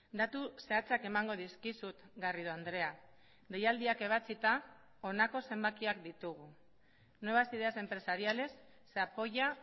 datu zehatzak emango dizkizut garrido andrea deialdiak ebatsita honako zenbakiak ditugu nuevas ideas empresariales se apoya